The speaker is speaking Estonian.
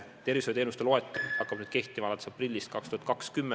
Tervishoiuteenuste uus loetelu hakkab nüüd kehtima aprillis 2020.